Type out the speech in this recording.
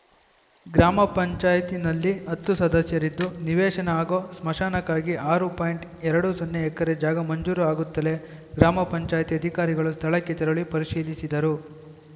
ಗ್ರಾಮ ಪಂಚಾಯಿತಿನಲ್ಲಿ ಹತ್ತು ಸದಸ್ಯರಿದ್ದು ನಿವೇಶನ ಹಾಗೂ ಸ್ಮಶಾನಕ್ಕಾಗಿ ಆರು ಪಾಯಿಂಟ್ ಎರಡು ಸೊನ್ನೆ ಎಕರೆ ಜಾಗ ಮಂಜೂರು ಆಗುತ್ತಲೇ ಗ್ರಾಮ ಪಂಚಾಯತಿ ಅಧಿಕಾರಿಗಳು ಸ್ಥಳಕ್ಕೆ ತೆರಳಿ ಪರಿಶೀಲಿಸಿದರು